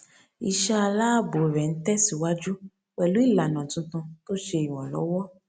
iṣẹ aláàbò rẹ ń tẹsíwájú pẹlú ìlànà tuntun tó ṣe iranlọwọ